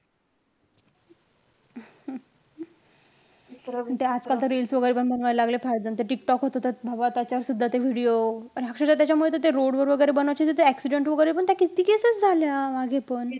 ते आत्ता तर reels वैगरे पण बनवायला लागले फारचं जण. ते टिकटॉक होत त बाबा त्याच्यावर सुद्धा ते video आणि अक्षरशः त्याच्यामुळं त ते road वर वैगरे बनवायचे, तर ते accident वैगरे पण त्या किती cases झाल्या मागे पण.